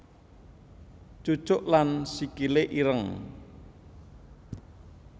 Cucuk lan Sikile ireng